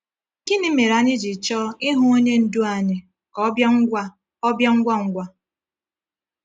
Gịnị mere anyị ji chọọ ịhụ Onye Ndú anyị ka ọ bịa ngwa ọ bịa ngwa ngwa?